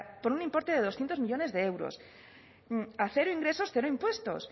por un importe de doscientos millónes de euros a cero ingresos cero impuestos